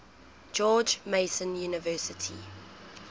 george mason university